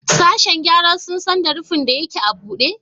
Sashen gyara sun san da rufin da yake a bude?